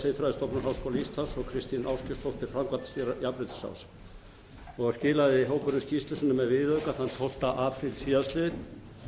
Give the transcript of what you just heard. siðfræðistofnunar háskóla íslands og kristín ástgeirsdóttir framkvæmdastýra jafnréttisráðs og skilaði hópurinn skýrslu sinni með viðauka þann tólfta apríl síðastliðinn